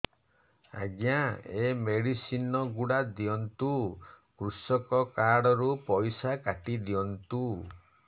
ଆଜ୍ଞା ଏ ମେଡିସିନ ଗୁଡା ଦିଅନ୍ତୁ କୃଷକ କାର୍ଡ ରୁ ପଇସା କାଟିଦିଅନ୍ତୁ